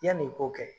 Yanni i k'o kɛ